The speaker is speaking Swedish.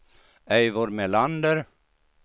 Eivor Melander